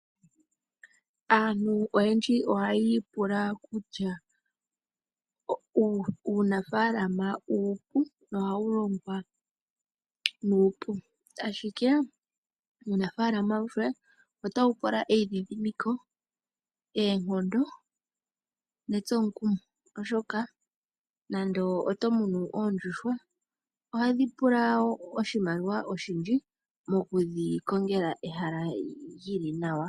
Aantu oyendji ohayiipula kutya uunafalama uupu nohaulongwa nuupu, ashikee uunafala awuhe otaupula eyidhidhimiko, eenkondo, netsomukumo oshoka nando otomuno oondjuhwa ohadhi pula oshimaliwa oshindji mokudhi kongela ehala lili nawa.